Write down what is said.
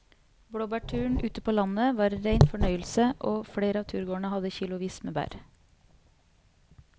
Blåbærturen ute på landet var en rein fornøyelse og flere av turgåerene hadde kilosvis med bær.